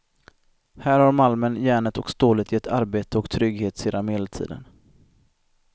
Här har malmen, järnet och stålet gett arbete och trygghet sedan medeltiden.